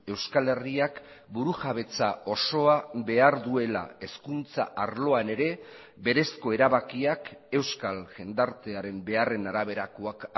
euskal herriak burujabetza osoa behar duela hezkuntza arloan ere berezko erabakiak euskal jendartearen beharren araberakoak